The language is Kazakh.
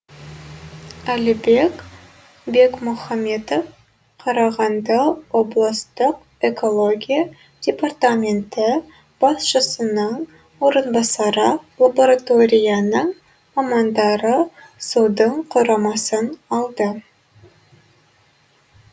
әлібек бекмұхаметов қарағанды облыстық экология департаменті басшысының орынбасары лабораторияның мамандары судың құрамасын алды